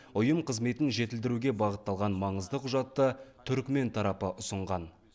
ұйым қызметін жетілдіруге бағытталған маңызды құжатты түрікмен тарапы ұсынған